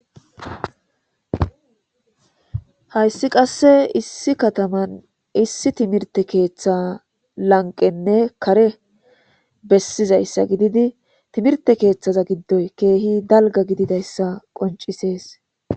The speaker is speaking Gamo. Hayssi qasse issi kataman issi timirte keeththa lanqqenne kare bessizayssa gididi timirte keeththaza giddoy keehi dalgga gididayssa qoncisees.